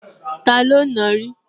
Taló ti nàá rí?